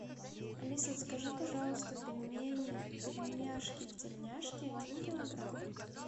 алиса закажи пожалуйста пельмени пельмешки в тельняшке один килограмм